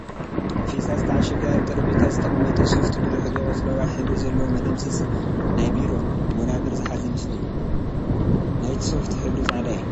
ብፌስታል ዝተዓሸገ ኣብ ጠሬጴዛ ዝተቀመጠ ሶፍቲ ብድሕሪቱ ቆፅለዋይ ሕብሪ ዘለዎ መደምሰስ ናይ ቢሮ ወናብር ዝሓዘ ምስሊ እዩ፡፡ ናይቲ ሶፍቲ ሕብሪ ፃዕዳ እዩ